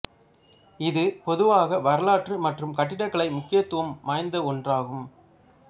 இது பொதுவாக வரலாற்று மற்றும் கட்டடக்கலை முக்கியத்துவம் வாய்ந்த ஒன்றாகும்